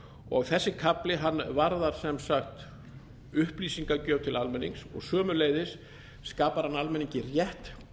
og þessi kafli varðar sem sagt upplýsingagjöf til almennings og sömuleiðis skapar hann almenningi rétt